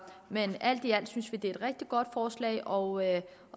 men alt i alt synes vi det er et rigtig godt forslag og